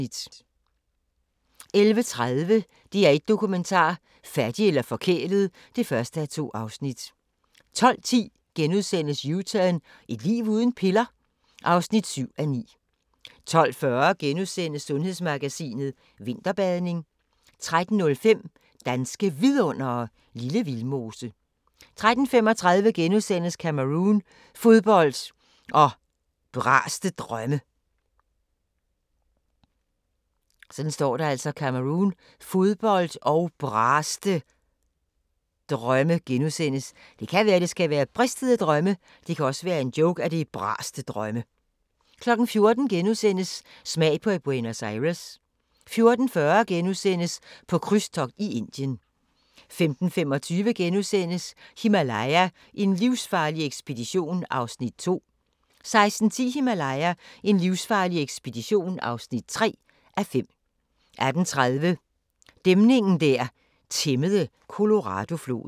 11:30: DR1 Dokumentar: Fattig eller forkælet (1:2) 12:10: U-turn – Et liv uden piller? (7:9)* 12:40: Sundhedsmagasinet: Vinterbadning * 13:05: Danske Vidundere: Lille Vildmose 13:35: Cameroun – fodbold og braste drømme * 14:00: Smag på Buenos Aires * 14:40: På krydstogt i Indien * 15:25: Himalaya: en livsfarlig ekspedition (2:5)* 16:10: Himalaya: en livsfarlig ekspedition (3:5) 18:30: Dæmningen der tæmmede Coloradofloden